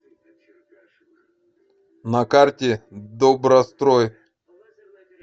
на карте добрострой